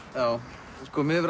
já mig hefur